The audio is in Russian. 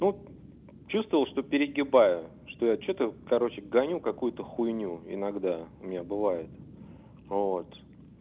но чувствовал что перегибаю что я что-то короче гоню какую-то хуйню иногда у меня бывает вот